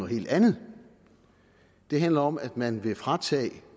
helt andet det handler om at man vil fratage